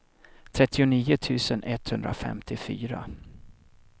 trettionio tusen etthundrafemtiofyra